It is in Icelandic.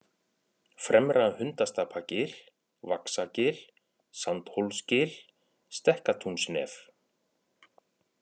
Fremra-Hundastapagil, Vaxagil, Sandhólsgil, Stekkatúnsnef